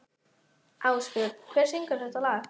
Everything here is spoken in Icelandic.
Ásbjörn, hver syngur þetta lag?